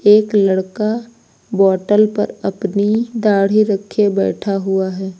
एक लड़का बॉटल पर अपनी दाढ़ी रखे बैठा हुआ है।